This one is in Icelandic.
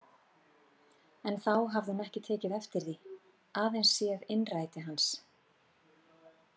En þá hafði hún ekki tekið eftir því, aðeins séð innræti hans.